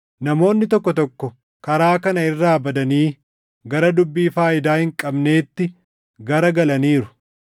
Namoonni tokko tokko karaa kana irraa badanii gara dubbii faayidaa hin qabneetti gara galaniiru.